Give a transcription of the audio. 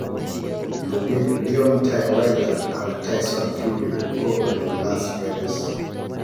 Lugik Deontay Wilder ak Tyson Fury kobeli Las Vegas.